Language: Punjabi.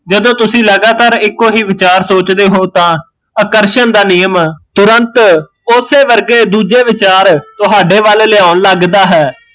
ਜਦੋਂ ਤੁਸੀਂ ਲਗਾਤਾਰ ਇੱਕੋ ਹੀਂ ਵਿਚਾਰ ਸੋਚਦੇ ਹੋ ਤਾਂ ਆਕਰਸ਼ਣ ਦਾ ਨਿਯਮ ਤੁਰੰਤ ਓਸੇ ਵਰਗੇ ਦੂਜੇ ਵਿਚਾਰ ਤੁਹਾਡੇ ਵੱਲ ਲਿਆਉਣ ਲੱਗਦਾ ਹੈ